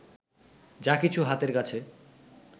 যা কিছু হাতের কাছে